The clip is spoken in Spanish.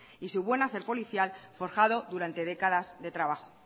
y su buen hacer policial forjado durante décadas de trabajo